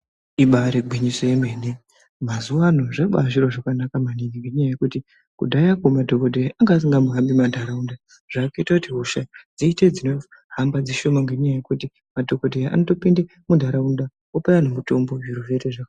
Ibaari gwinyiso yemene mazuwaano zvabaa zviro zvakanaka maningi ngenyaya yekuti kudhaya ko madhogodheya anga asingambohambi mantaraunda zvaakuita kuti hosha dziite dzinohamba dzishoma ngenyaya yekuti madhokodheya anotopinde muntaraunda opa anhu mitombo zviro zvoita zvakanaka.